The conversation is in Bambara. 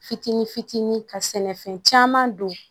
Fitinin fitinin ka sɛnɛfɛn caman don